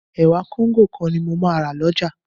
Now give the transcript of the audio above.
Ẹ̀wà Kóńgò kan ni mo máa rà lọ́jà